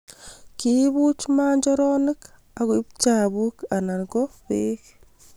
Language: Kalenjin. Kiibuch manjoronok akoib chapuk anan ko beko